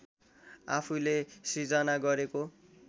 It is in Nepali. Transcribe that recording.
आफूले सृजना गरेको